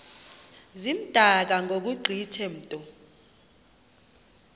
zimdaka ngokugqithe mntu